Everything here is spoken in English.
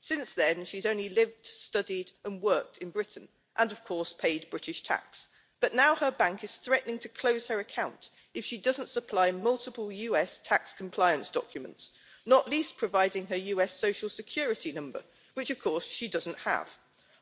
Since then, she's only lived studied and worked in Britain and, of course, paid British tax, but now her bank is threatening to close her account if she doesn't supply multiple US tax compliance documents, not least providing her US Social Security number, which of course she doesn't have.